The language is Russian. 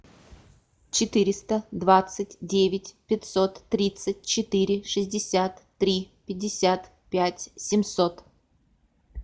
четыреста двадцать девять пятьсот тридцать четыре шестьдесят три пятьдесят пять семьсот